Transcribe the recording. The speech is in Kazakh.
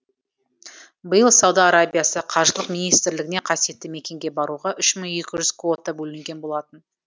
биыл сауда арабиясы қажылық министрлігінен қасиетті мекенге баруға үш мың екі жүз квота бөлінген болатын